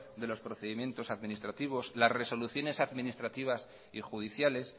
de los procedimientos administrativos las resoluciones administrativas y judiciales